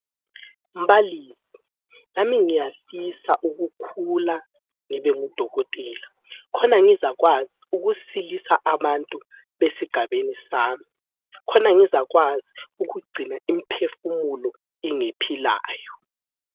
Mbalisi, lami ngiyafisa ukukhula ngibe ngudokotela. Khona ngizakwazi ukusilisa abantu esigabeni sami. Khona ngizakwazi ukugcina imphefumulo ingephilayo.